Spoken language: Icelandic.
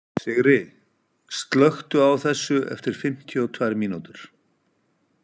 Sigri, slökktu á þessu eftir fimmtíu og tvær mínútur.